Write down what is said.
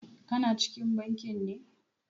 Ka na cikin bankin ne?